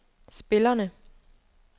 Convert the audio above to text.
spillerne